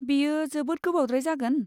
बेयो जोबोद गोबावद्राय जागोन?